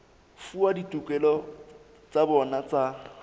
fuwa ditokelo tsa bona tsa